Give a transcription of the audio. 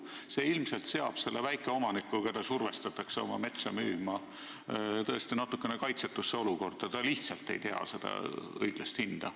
See ilmselt seab väikeomaniku, keda survestatakse oma metsa müüma, tõesti natukene kaitsetusse olukorda – ta lihtsalt ei tea õiglast hinda.